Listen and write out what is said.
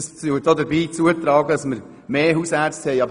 Es trägt dazu bei, dass wir mehr Hausärzte haben werden.